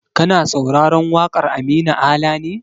Kana sauraron waƙar Aminu Ala ne?